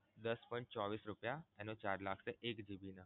દસ point ચોવીશ રુપીયા એનો charge લાગશે એક GB નો